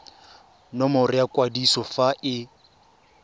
nomoro ya kwadiso fa e